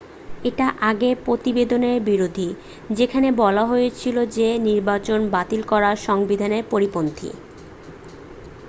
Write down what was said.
এটা আগের প্রতিবেদনের বিরোধী যেখানে বলা হয়েছিল যে নির্বাচন বাতিল করা সংবিধানের পরিপন্থী